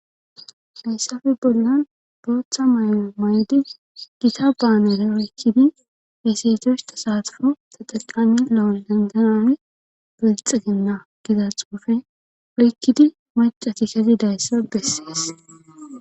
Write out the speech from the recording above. hayssafe bollan booththa mayno may7di gita baanere woykkidi heseetoshta saatufo ta xaqami la7o lenganane belxiginna giza xoofe oykkidi macati kati dayssa bessees